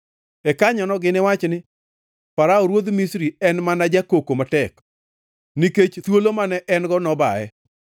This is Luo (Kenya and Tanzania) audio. E kanyono giniwach ni, ‘Farao ruodh Misri en mana jakoko matek, nikech thuolo mane en-go nobaye.’ ”